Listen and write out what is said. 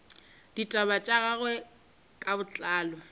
ditaba tša gagwe ka botlalo